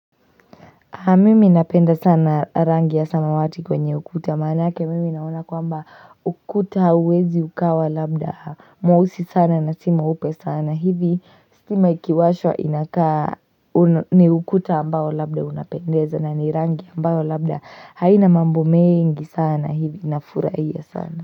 Haa mimi napenda sana rangi ya samawati kwenye ukuta maanake mimi naona kwamba ukuta huwezi ukawa labda mweusi sana na si mweupe sana hivi stima ikiwashwa inakaa ni ukuta ambayo labda unapendeza na ni rangi ambayo labda haina mambo mengi sana hivi na furahia sana.